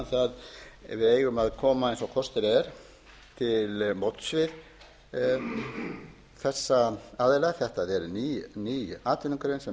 að við eigum að koma eins og kostur er til móts við þessa aðila þetta er ný atvinnugrein sem